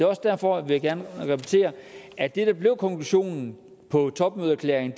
også derfor vil jeg gerne repetere at det der blev konklusionen på topmødeerklæringen